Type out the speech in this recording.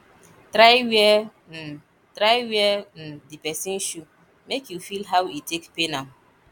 try wear um try wear um di pesin shoe mek you feel how e take pain am